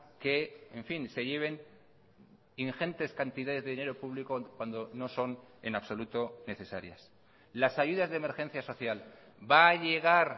que en fin se lleven ingentes cantidades de dinero público cuando no son en absoluto necesarias las ayudas de emergencia social va a llegar